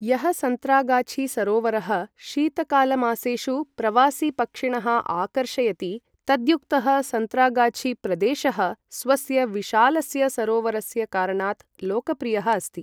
यः सन्तरागाछी सरोवरः शीतकालमासेषु प्रवासिपक्षिणः आकर्षयति, तद्युक्तः सन्तरागाछी प्रदेशः स्वस्य विशालस्य सरोवरस्य कारणात् लोकप्रियः अस्ति।